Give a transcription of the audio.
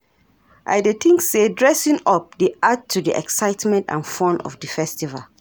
I dey think say dressing up dey add to di excitement and fun of di festival.